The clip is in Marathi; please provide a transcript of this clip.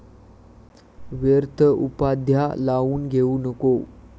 व्यर्थ उपाध्या लावून घेऊ नको ।